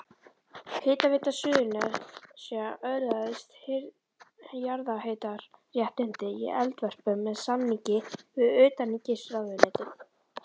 Hitaveita Suðurnesja öðlaðist jarðhitaréttindi í Eldvörpum með samningi við utanríkisráðuneytið.